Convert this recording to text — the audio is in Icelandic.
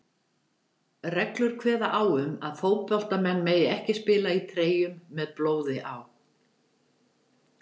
Reglur kveða á um að fótboltamenn mega ekki spila í treyjum með blóði á.